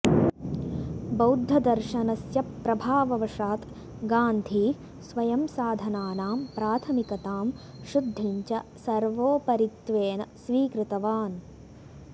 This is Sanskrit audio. बौद्धदर्शनस्य प्रभाववशात् गान्धी स्वयं साधनानां प्राथमिकतां शुद्धिं च सर्वोपरित्वेन स्वीकृतवान्